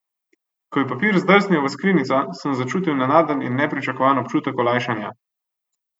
Ko je papir zdrsnil v skrinjico, sem začutil nenaden in nepričakovan občutek olajšanja.